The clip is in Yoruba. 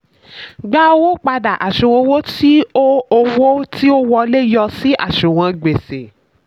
gba owó padà: àṣùwọ̀n owó tí ó owó tí ó wọlé yọ sí àṣùwọ̀n gbèsè.